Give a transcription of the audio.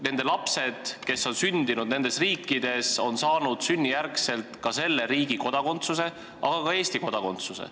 Nende lapsed, kes on sündinud nendes riikides, on saanud sünnijärgselt ka selle riigi kodakondsuse, aga ka Eesti kodakondsuse.